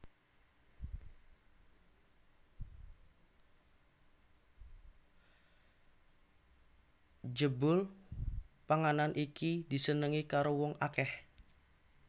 Jebul panganan iki disenengi karo wong akèh